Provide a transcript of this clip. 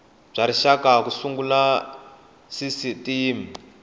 bya rixaka ku sungula sisitimi